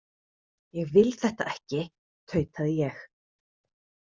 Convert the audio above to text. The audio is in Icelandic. Ég vil þetta ekki, tautaði ég.